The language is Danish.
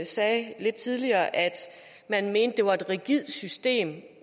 sagde lidt tidligere at man mente det var et rigidt system